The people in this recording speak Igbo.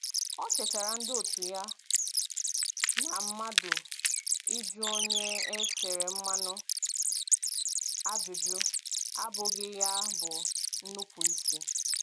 O chetara ndị otu ya na mmadụ ịjụ onye e tere mmanụ ajụjụ abụghị ya bụ nnupụisi